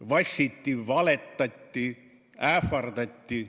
Vassiti, valetati, ähvardati.